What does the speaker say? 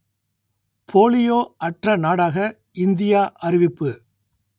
polio அற்ற நாடாக India அறிவிப்பு